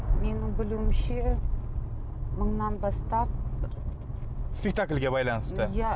менің білуімше мыңнан бастап спектакльге байланысты иә